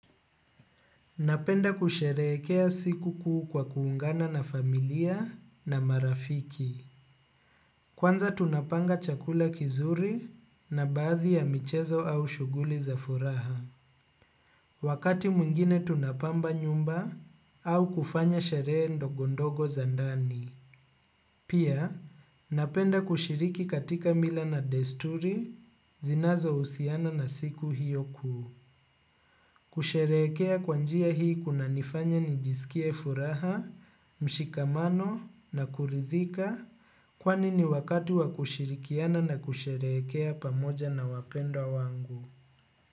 Napenda kusherekea siku kuu kwa kuungana na familia na marafiki. Kwanza tunapanga chakula kizuri na baadhi ya michezo au shuguli za furaha. Wakati mwingine tunapamba nyumba au kufanya sherehr ndogo ndogo za ndani. Pia napenda kushiriki katika mila na desturi zinazohusiana na siku hiyo kuu. Kusherekea kwa njia hii kunanifanya nijisikie furaha, mshikamano na kuridhika kwani ni wakati wa kushirikiana na kusherekea pamoja na wapendwa wangu.